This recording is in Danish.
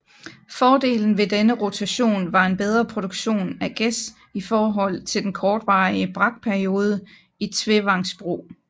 Fordelen ved denne rotation var en bedre produktion af græs i forhold til den kortvarige brakperiode i trevangsbrug